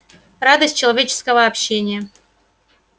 радость человеческого общения